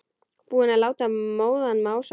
Búinn að láta móðan mása.